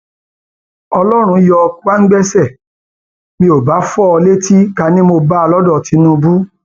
ọlọrun yọ kwangbaṣẹ mi ò bá fọ ọ létí ká ní mo bá a lọdọ tinubu